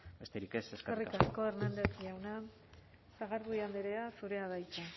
besterik ez eskerrik asko eskerrik asko hernández jauna sagardui andrea zurea da hitza